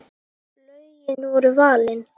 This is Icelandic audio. Lögin voru valin.